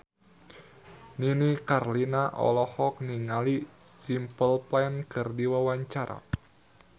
Nini Carlina olohok ningali Simple Plan keur diwawancara